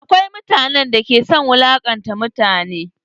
Akwai mutanen da ke son wulaƙanta mutane.